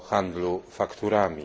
handlu fakturami.